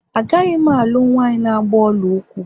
Agaghị m alụ nwanyị na agba ọla ụkwụ